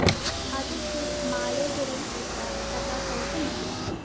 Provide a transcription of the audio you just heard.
അതൊക്കെ മാലോകരില്‍പ്പെട്ട സഖാക്കള്‍ക്ക് മതി